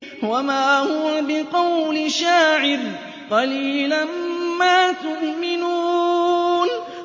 وَمَا هُوَ بِقَوْلِ شَاعِرٍ ۚ قَلِيلًا مَّا تُؤْمِنُونَ